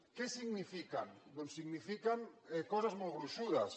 què signifiquen doncs signifiquen coses molt gruixudes